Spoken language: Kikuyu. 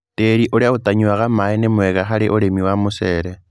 Tĩri ũrĩa ũtanyuaga maĩ nĩ mwega harĩ ũrĩmi wa mũcere.